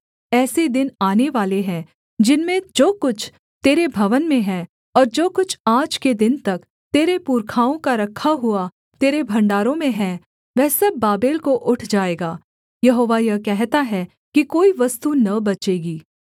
ऐसे दिन आनेवाले हैं जिनमें जो कुछ तेरे भवन में है और जो कुछ आज के दिन तक तेरे पुरखाओं का रखा हुआ तेरे भण्डारों में हैं वह सब बाबेल को उठ जाएगा यहोवा यह कहता है कि कोई वस्तु न बचेगी